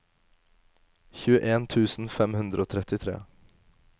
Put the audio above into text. tjueen tusen fem hundre og trettitre